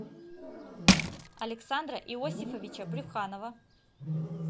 александра иосифовича брюханова